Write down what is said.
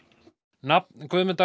nafn Guðmundar